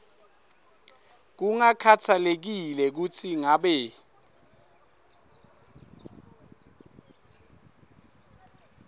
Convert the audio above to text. kungakhatsalekile kutsi ngabe